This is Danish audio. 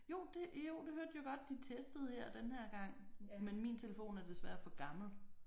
Jo det jo det hørte jeg godt de testede her denne her gang men min telefon er desværre for gammel